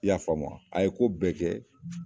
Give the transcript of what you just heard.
I y'a faamu a ye ko bɛɛ kɛ